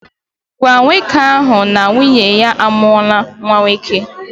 Gwa nwoke ahụ na nwunye ya a mụwo nwa nwoke